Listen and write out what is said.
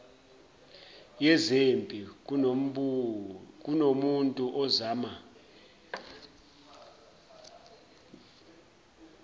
yezempi kunomuntu ozama